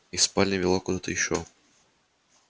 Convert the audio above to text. из спальни вела куда-то ещё